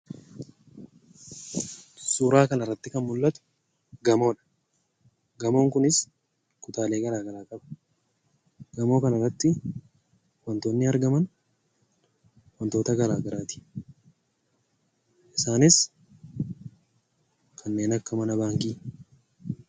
Suuraa kanarratti kan mul'atu gamoodha. Gamoon kunis kutaalee garaagaraa qaba. Gamoo kanarratti wantoonni argaman wantoota garaagaraati. Isaanis kanneen akka mana baankiiti.